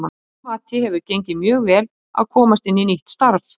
Að mínu mati hefur gengið mjög vel að komast inn í nýtt starf.